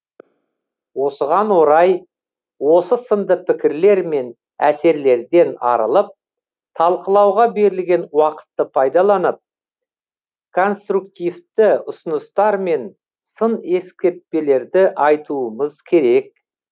осыған орай осы сынды пікірлер мен әсерлерден арылып талқылауға берілген уақытты пайдаланып конструктивті ұсыныстар мен сын ескертпелерді айтуымыз керек